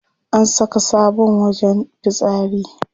An saka sabon wajen fitsari.